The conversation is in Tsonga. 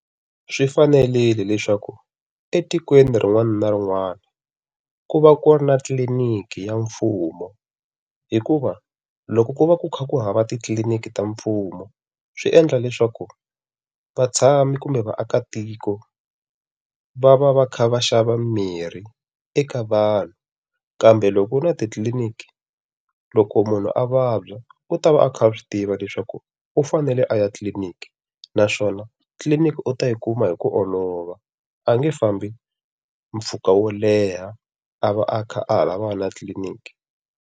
Swi fanerile leswaku etikweni rin'wana na rin'wana, ku va ku ri na tliniki ya mfumo hikuva loko ku va ku kha ku hava titliniki ta mfumo, swi endla leswaku vatshami kumbe vaakatiko, va va va kha va xava mimirhi eka vanhu. Kambe loko na titliniki loko munhu a vabya, u ta va a kha a swi tiva leswaku u fanele a ya titliniki naswona tliliniki u ta yi kuma hi ku olova, a nge fambi mpfhuka wo leha a va a kha a ha lavana na tliliniki.